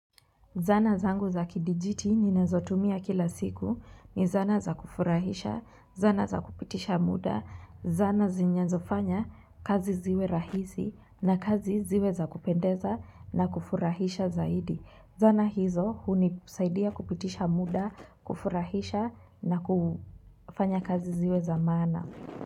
Zana zangu za kidijiti ni nazotumia kila siku ni zana za kufurahisha, zana za kupitisha muda, zana zinyazofanya kazi ziwe rahisi na kazi ziwe za kupendeza na kufurahisha zaidi. Zana hizo huni saidia kupitisha muda, kufurahisha na kufanya kazi ziwe za maana.